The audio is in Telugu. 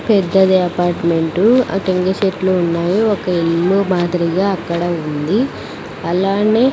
పెద్దది అపార్ట్మెంటు ఆ టెంకాయ సెట్లు ఉన్నాయి ఒక ఇల్లు మాదిరిగా అక్కడ ఉంది అలానే--